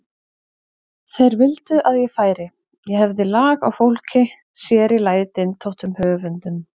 Þeir vildu að ég færi, ég hefði lag á fólki, sér í lagi dyntóttum höfundum.